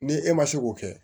Ni e ma se k'o kɛ